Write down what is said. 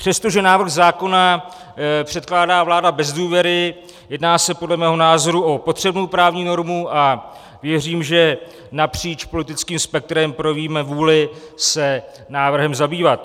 Přestože návrh zákona předkládá vláda bez důvěry, jedná se podle mého názoru o potřebnou právní normu a věřím, že napříč politickým spektrem projevíme vůli se návrhem zabývat.